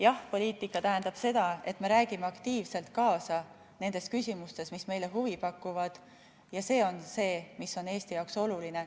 Jah‑poliitika tähendab seda, et me räägime aktiivselt kaasa nendes küsimustes, mis meile huvi pakuvad, ja see on see, mis on Eesti jaoks oluline.